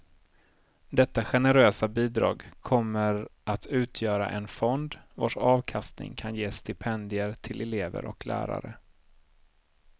Detta generösa bidrag kommer att utgöra en fond, vars avkastning kan ge stipendier till elever och lärare.